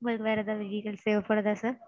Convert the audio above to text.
உங்களுக்கு வேற எதாவது details தேவைப்படுதா sir?